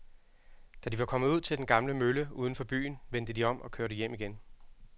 Da de var kommet ud til den gamle mølle uden for byen, vendte de om og kørte hjem igen.